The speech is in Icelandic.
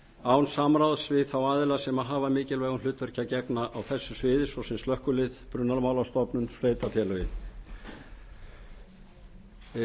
án samráðs við þá aðila sem hafa mikilvægu hlutverki að gegna á þessu sviði svo sem slökkvilið brunamálastofnun og sveitarfélögin